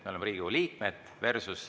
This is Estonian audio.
Me oleme Riigikogu liikmed.